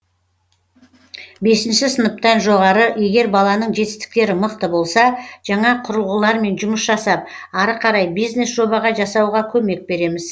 бесінші сыныптан жоғары егер баланың жетістіктері мықты болса жаңа құрылғылармен жұмыс жасап ары қарай бизнес жоба жасауға көмек береміз